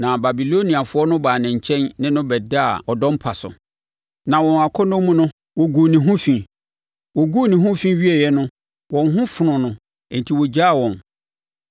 Na Babiloniafoɔ no baa ne nkyɛn ne no bɛdaa ɔdɔ mpa so, na wɔn akɔnnɔ mu no, wɔguu ne ho fi. Wɔguu ne ho fi wieeɛ no wɔn ho fonoo no enti ɔgyaa wɔn.